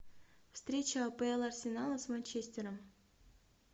встреча пл арсенала с манчестером